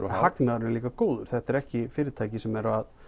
hagnaðurinn er líka góður þetta er ekki fyrirtæki sem